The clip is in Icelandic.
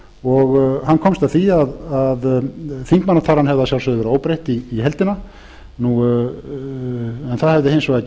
og hann komst að því að þingmannatalan hefði að sjálfsögðu verið óbreytt í heildina en það hefði hins vegar